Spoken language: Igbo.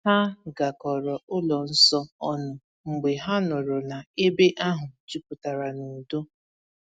Ha garakọrọ ụlọ nsọ ọnụ mgbe ha nụrụ na ebe ahụ juputara n’udo.